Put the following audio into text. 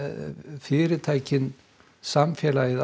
fyrirtækin samfélagið